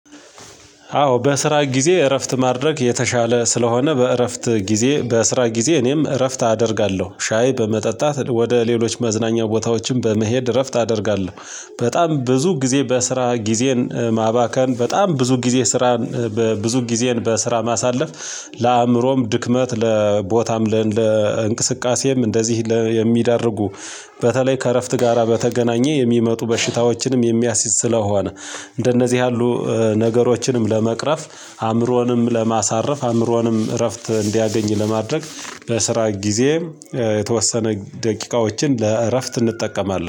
አዎ በስራ ጊዜ እረፍት ማድረግ የተሻለ ስለሆነ በእረፍት ጊዜ በስራ ጊዜ እኔም እረፍት አደርጋለሁ። ሻይ በመጠጣት ወደ ሌሎች መዝናኛ ቦታዎችም በመሄድ እረፍት አደርጋለሁ። በጣም ብዙ ጊዜ በስራ ጊዜን ማባከን በጣም ብዙ ጊዜ ስራን በብዙ ጊዜን በስራ ማሳለፍ ለአእምሮም ድክመት ለቦታም ለእንቅስቃሴም እንደዚህ የሚያደርጉ በተለይ ከእረፍት ጋራ በተገናኘ የሚመጡ በሽታዎችንም የሚያስይዝ ስለሆነ እንደነዚህ ያሉ ነገሮችንም ለመቅረፍ አእምሮንም ለማሳረፍ አእምሮንም እረፍት እንዲያገኝ ለማድረግ በስራ ጊዜ የተወሰነ ደቂቃዎችን ለእረፍት እንጠቀማለን